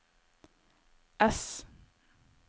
ess